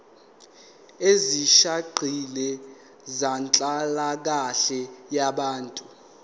ezisihaqile zenhlalakahle yabantu